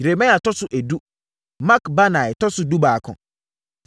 Yeremia tɔ so edu, Makbanai tɔ so dubaako.